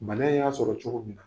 Bana y'a sɔrɔ cogo min na.